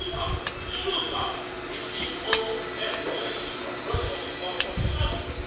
It could not and should not be seen only as a strategy from Brussels or from Strasbourg.